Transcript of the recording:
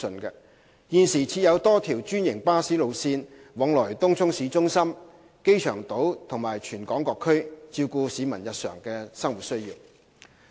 現時設有多條專營巴士路線往來東涌市中心、機場島及全港各區，照顧市民日常的生活需要。